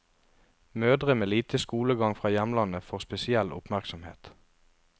Mødre med lite skolegang fra hjemlandet får spesiell oppmerksomhet.